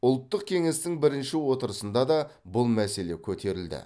ұлттық кеңестің бірінші отырысында да бұл мәселе көтерілді